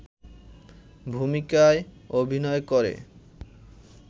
ভূমিকায় অভিনয় করে